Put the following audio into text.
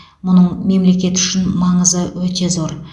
мұның мемлекет үшін маңызы өте зор